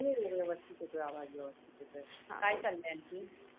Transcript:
हो व्यवस्तीत येतोय आवाज व्यवस्तीत येतोय. काय चालाय आणखीन?